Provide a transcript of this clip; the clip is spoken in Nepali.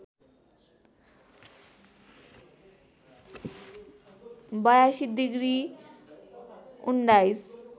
८२ डिग्री १९